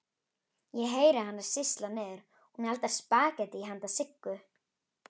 Ég heyri hana sýsla niðri, hún eldar spagettí handa Siggu.